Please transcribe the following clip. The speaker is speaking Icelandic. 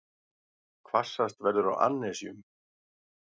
Hvassast verður á annesjum